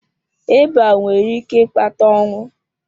Ịba nwere ike ịkpata ọnwụ.